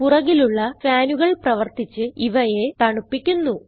പുറകിലുള്ള ഫാനുകൾ പ്രവർത്തിച്ച് ഇവയെ തണുപ്പിക്കുന്നു